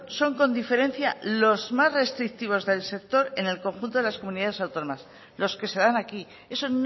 son con diferencia los más restrictivos del sector en el conjunto de las comunidades autónomas los que se dan aquí eso